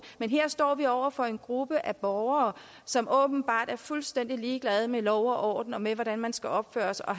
men her står vi over for en gruppe af borgere som åbenbart er fuldstændig ligeglade med lov og orden og med hvordan man skal opføre sig og